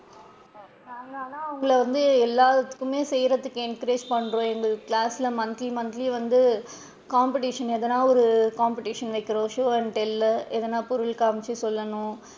நாங்க ஆனா உங்கள வந்து எல்லாத்துக்குமே செய்றதுக்கு encourage பண்றோம் எங்க class ல monthly monthly வந்து competition எதுனா வந்து competition வைக்கிறோம் show and tell ளு எதுனா பொருள் காமிச்சு சொல்லணும்.